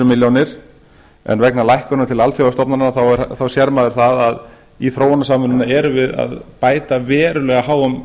milljónir en vegna lækkunar til alþjóðastofnana sér maður að í þróunarsamvinnuna erum við að bæta verulega háum